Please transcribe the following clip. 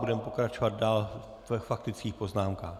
Budeme pokračovat dále ve faktických poznámkách.